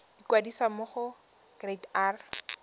ikwadisa mo go kereite r